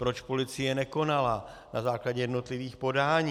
Proč policie nekonala na základě jednotlivých podání?